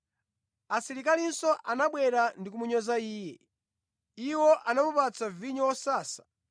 Asilikalinso anabwera ndi kumunyoza Iye. Iwo anamupatsa vinyo wosasa,